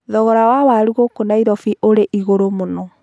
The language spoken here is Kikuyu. Thogora wa waru gũkũ Nairobi wĩ igũrũ mũno.